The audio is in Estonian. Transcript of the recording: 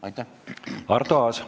Aitäh!